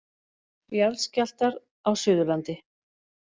Jarðskjálftar á Suðurlandi.